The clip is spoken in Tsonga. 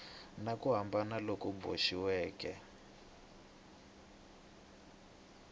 na ku hambana loku boxiweke